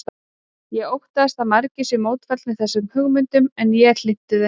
Ég óttast að margir séu mótfallnir þessum hugmyndum en ég er hlynntur þeim.